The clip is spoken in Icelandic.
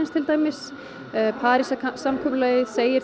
til dæmis Parísarsamkomulagið segir